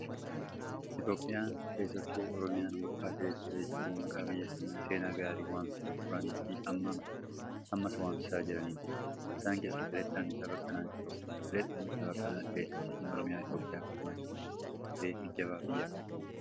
Itoophiyaan, keessattuu Oromiyaan burqaa atileetota jajjaboo maqaa biyya kanaa seenaa gaariin waamsisaa turanii fi ammas waamsisaa jiraniiti. Isaan keessaa atileet Qananiisaa Baqqalaa isa tokko. Atileet Qananiisaa Baqqalaa atileetii dacheen Oromiyaa Itoophiyaaf gumaachiteefi atileetii jabaa biyya kanaati.